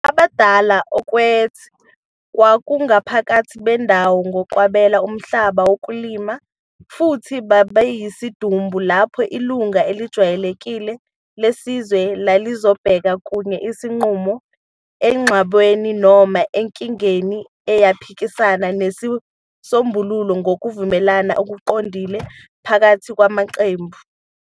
"Abadala okwet"kwakungabaphathi bendawo ngokwabela umhlaba wokulima, futhi babeyisidumbu lapho ilungu elijwayelekile lesizwe lalizobheka kuye isinqumo engxabanweni noma enkingeni eyaphikisana nesisombululo ngokuvumelana okuqondile phakathi kwamaqembu.